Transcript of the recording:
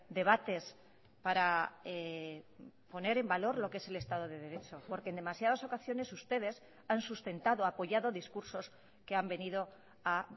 debates para poner en valor lo que es el estado de derecho porque en demasiadas ocasiones ustedes han sustentado apoyado discursos que han venido a